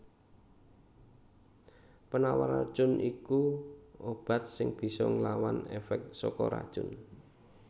Penawar racun iku obat sing bisa nglawan èfèk saka racun